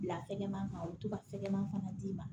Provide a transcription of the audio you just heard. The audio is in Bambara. Bila tɛgɛ ma kan u bɛ to ka fɛgɛman fana d'i ma